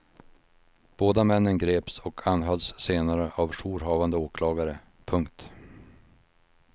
Båda männen greps och anhölls senare av jourhavande åklagare. punkt